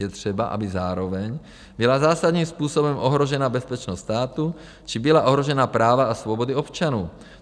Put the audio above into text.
Je třeba, aby zároveň byla zásadním způsobem ohrožena bezpečnost státu či byla ohrožena práva a svobody občanů.